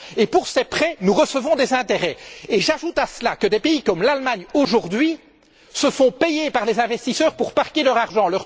Pour ces prêts, ils reçoivent des intérêts et j'ajoute à cela que des pays comme l'Allemagne, aujourd'hui, se font payer par les investisseurs pour placer leur argent.